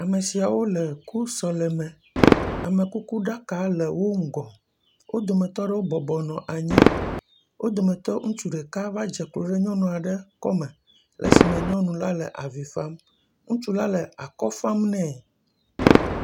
Ame siawo le ku sɔleme. Amekukuɖaka le wo ŋgɔ. Wo dometɔ aɖewo bɔbɔnɔ anyi. Wo dometɔ ŋutsu ɖeka va dze klo ɖe nyɔnu aɖe kɔme esi me nyɔnu la le avi fa. Ŋutsu la le akɔ fam nɛ.